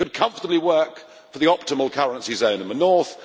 It could comfortably work for the optimal currency zone in the north.